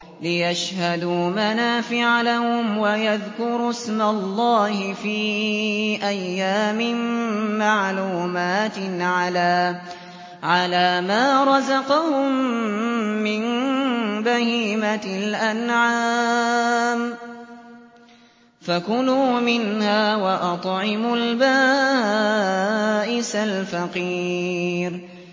لِّيَشْهَدُوا مَنَافِعَ لَهُمْ وَيَذْكُرُوا اسْمَ اللَّهِ فِي أَيَّامٍ مَّعْلُومَاتٍ عَلَىٰ مَا رَزَقَهُم مِّن بَهِيمَةِ الْأَنْعَامِ ۖ فَكُلُوا مِنْهَا وَأَطْعِمُوا الْبَائِسَ الْفَقِيرَ